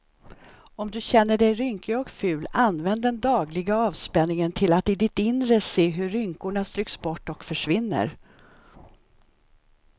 Om du känner dig rynkig och ful, använd den dagliga avspänningen till att i ditt inre se hur rynkorna stryks bort och försvinner.